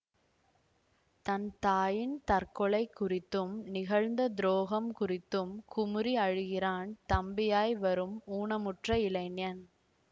தன் தாயின் தற்கொலை குறித்தும் நிகழ்ந்த துரோகம் குறித்தும் குமுறி அழுகிறான் தம்பியாய் வரும் ஊனமுற்ற இளைஞன்